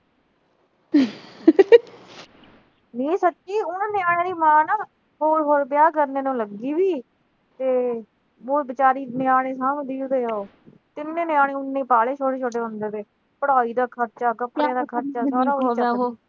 ਨਈਂ ਸੱਚੀਂ ਉਨ੍ਹਾਂ ਨਿਆਣਿਆਂ ਦੀ ਮਾਂ ਨਾ, ਉਹ ਹੋਰ ਵਿਆਹ ਕਰਨ ਨੂੰ ਲੱਗੀ ਸੀ ਤੇ ਉਹ ਵਿਚਾਰੀ ਨਿਆਣੇ ਸਾਂਭਦੀ ਤੇ ਤਿੰਨੇ ਨਿਆਣੇ ਉਹਨੇ ਪਾਲੇ ਛੋਟੇ-ਛੋਟੇ ਹੁੰਦੇ ਤੋਂ। ਪੜ੍ਹਾਈ ਦਾ ਖਰਚਾ ਕੱਪੜਿਆਂ ਦਾ ਖਰਚਾ, ਸਾਰਾ ਉਦੋਂ ਦਾ ਉਹੋ